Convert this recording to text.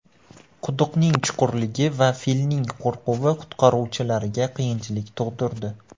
Quduqning chuqurligi va filning qo‘rquvi qutqaruvchilarga qiyinchilik tug‘dirdi.